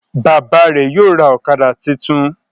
Bàbá rẹ yóò ra okada títún.